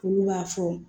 Olu b'a fɔ